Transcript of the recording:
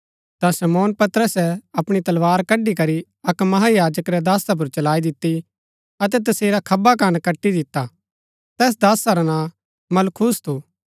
ता शमौन पतरसे अपणी तलवार कड्ड़ी करी अक्क महायाजक रै दासा पुर चलाई दिती अतै तसेरा खब्बा कन कटी दिता तैस दासा रा नां मलखुस थू